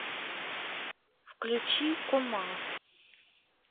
включи кума